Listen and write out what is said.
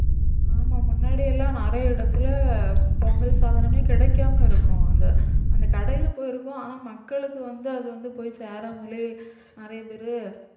ஆமா முன்னாடியெல்லாம் நிறைய இடத்துல பொங்கல் சாதனமே கிடைக்காம இருக்கும். அந்த அந்த கடையில போயிருக்கும் ஆனா மக்களுக்கு வந்து அது வந்து போய் சேராமலே நிறைய